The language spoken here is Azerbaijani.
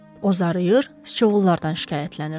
O zarıyır, sıçovullardan şikayətlənirdi.